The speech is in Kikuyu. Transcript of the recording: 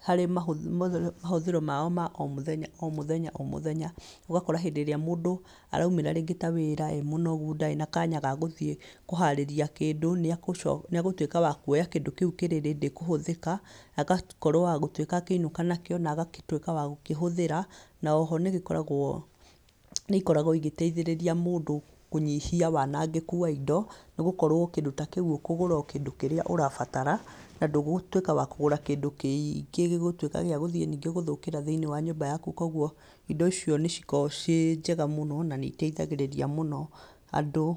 harĩ mahũthĩro maao ma omũthenya, omũthenya omũthenya, ũgakora hĩndĩ ĩrĩa mũndũ araumĩra rĩngĩ ta wĩra emũnogu, ndarĩ na kanya gagũthiĩ kũharĩria kĩndũ, nĩegũtuĩka wakuoya kĩndũ kĩu kĩ ready kũhũthĩka, agakorwo wagũtuĩka akĩinũka nakĩo, na agatuĩka wagũkĩhũthĩra, na oho nĩgĩkoragwo, nĩikoragwo igĩtaithĩrĩria mũndũ kũnyihia wanangĩku wa indo, nĩgũkorwo kĩndũ ta kĩu ũkũgũra o kĩndũ kĩrĩa ũrabatara, na ndũgũtuĩka wakũgũra kĩndũ kĩingĩ gĩgũtuĩka gĩagũthiĩ gũthũkĩra thĩinĩ wa nyũmba yaku. Koguo indo icio nĩcikoragwo ciĩ njega mũno, na nĩiteithagĩrĩria mũno andũ.